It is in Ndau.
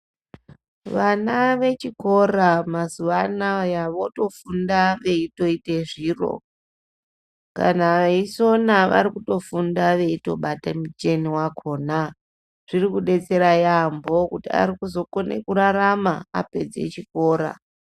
Vana vechikora mazuwanaya votofunda veitoite zviro kana veisona varikutofunda veitobate micheni wakona zvirikudetsera yambo kuti arikuzokone kurarama apedze chikora.